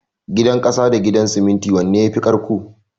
Gidan ƙasa da Gidan siminti wanne yafi ƙarƙko?